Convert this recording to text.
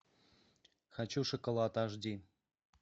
хочу шоколад аш ди